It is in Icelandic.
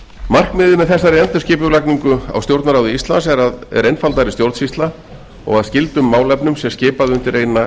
markmiðið með þessari endurskipulagningu á stjórnarráði íslands er einfaldari stjórnsýsla og að skyldum málefnum sé skipað undir eina